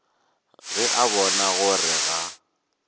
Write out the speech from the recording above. ge a bona gore ga